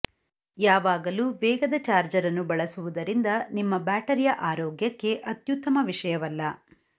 ಯಾವಾಗಲೂ ವೇಗದ ಚಾರ್ಜರ್ ಅನ್ನು ಬಳಸುವುದರಿಂದ ನಿಮ್ಮ ಬ್ಯಾಟರಿಯ ಆರೋಗ್ಯಕ್ಕೆ ಅತ್ಯುತ್ತಮ ವಿಷಯವಲ್ಲ